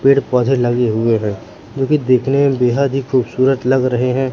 पेड़ पौधे लगे हुए हैं जो कि देखने में बेहद ही खूबसूरत लग रहे हैं।